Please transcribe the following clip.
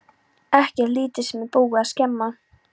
Ekkert lítið sem er búið að skemma!